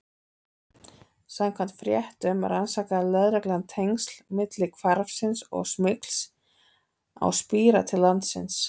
Samkvæmt fréttum rannsakaði lögreglan tengsl milli hvarfsins og smygls á spíra til landsins.